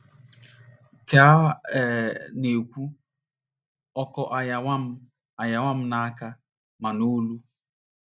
Ka a um na - ekwu, ọkọ aghawa aghawa m ma n’aka ma n’olu.